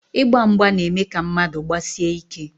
Ịgba mgba na-eme ka mmadụ gbasie ike.